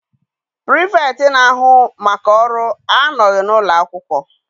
pirifektị na-ahu maka ọrụ anọghị n'ụlọ akwụkwọ.